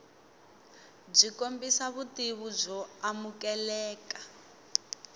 byi kombisa vutivi byo amukeleka